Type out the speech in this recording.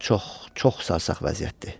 Çox, çox sarsaq vəziyyətdir.